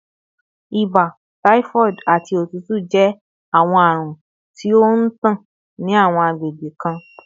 Ibà, typhoid, ati otutu jẹ awọn arun ti o ntan ni awọn agbegbe kan